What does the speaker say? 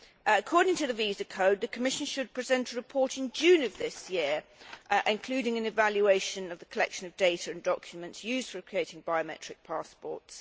According to the Visa Code the Commission should present a report in June this year including an evaluation of the collection of data and documents used for creating biometric passports.